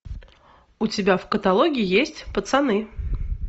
у тебя в каталоге есть пацаны